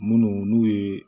Munnu n'u ye